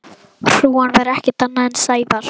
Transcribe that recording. Hrúgan var ekkert annað en Sævar.